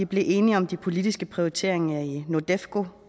blev enige om de politiske prioriteringer i nordefco